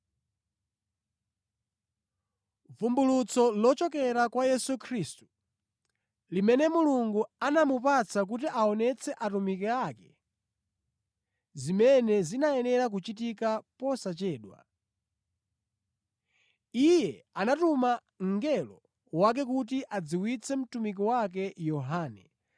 Vumbulutso lochokera kwa Yesu Khristu, limene Mulungu anamupatsa kuti aonetse atumiki ake zimene zinayenera kuchitika posachedwa. Iye anatuma mngelo wake kuti adziwitse mtumiki wake Yohane,